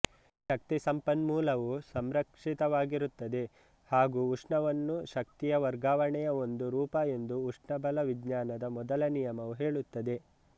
ಶಕ್ತಿಸಂಪನ್ಮೂಲವು ಸಂರಕ್ಷಿತವಾಗಿರುತ್ತದೆ ಹಾಗೂ ಉಷ್ಣವನ್ನು ಶಕ್ತಿಯ ವರ್ಗಾವಣೆಯ ಒಂದು ರೂಪ ಎಂದು ಉಷ್ಣಬಲ ವಿಜ್ಞಾನದ ಮೊದಲ ನಿಯಮವು ಹೇಳುತ್ತದೆ